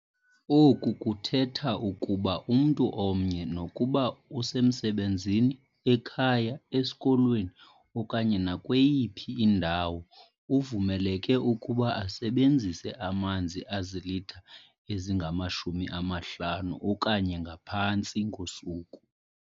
Oku kuthetha ukuba umntu omnye, nokuba usemsebenzini, ekhaya, esikolweni okanye nakweyiphi indawo, uvumeleke ukuba asebenzise amanzi azilitha ezingama-50 okanye ngaphantsi ngosuku.